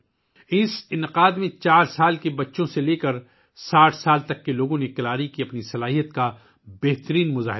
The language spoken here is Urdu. اس تقریب میں 4 سال کی عمر کے بچوں سے لے کر 60 سال تک کے لوگوں نے اپنی بہترین صلاحیتوں کے مطابق کلاری کی مہارت کا مظاہرہ کیا